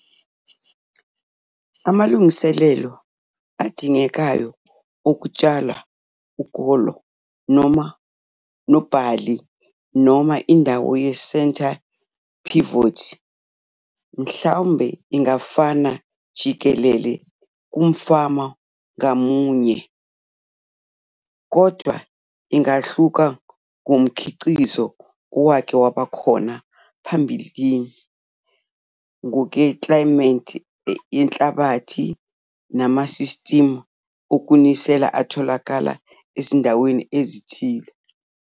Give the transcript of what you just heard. AMALUNGISELELO ADINGEKAYO OKUTSHALWA UKOLO NOBHALI NOMA INDAWO YE-CENTRE PIVOT MHLAMBE INGAFANA JIKELELE KUMFANA NGAMUNYE KODWA INGAHLUKA NGOMKHIQIZO OWAKE WABA KHONA PHAMBILINI NGOKWEKLAYIMETHI YENHLABATHI NAMASISTIMU OKUNISELA ATHOLAKALA EZINDAWENI EZITHILE.